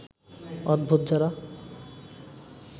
অদ্ভুত যারা